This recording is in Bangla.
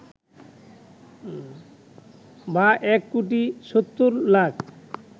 বা ১ কোটি ৭০ লাখ